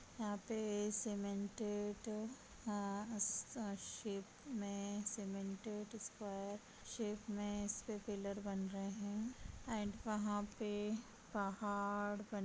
यहाँ पे cemented a shape में सीमेंटेड स्क्वायर शेप में इस पे पिलर बन रहे है एंड वहाँ पे पहाड़ बन --